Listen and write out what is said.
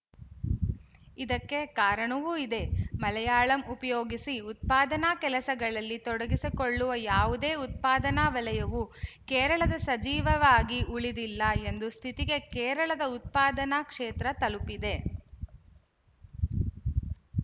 ಇದಕ್ಕೆ ಕಾರಣವೂ ಇದೆ ಮಲಯಾಳಂ ಉಪಯೋಗಿಸಿ ಉತ್ಪಾದನಾ ಕೆಲಸಗಳಲ್ಲಿ ತೊಡಗಿಕೊಳ್ಳಲು ಯಾವುದೇ ಉತ್ಪಾದನಾ ವಲಯವೂ ಕೇರಳದ ಸಜೀವವಾಗಿ ಉಳಿದಿಲ್ಲ ಎಂಬ ಸ್ಥಿತಿಗೆ ಕೇರಳದ ಉತ್ಪಾದನಾ ಕ್ಷೇತ್ರ ತಲುಪಿದೆ